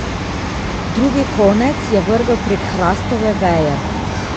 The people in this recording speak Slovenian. Drugi konec je vrgel prek hrastove veje.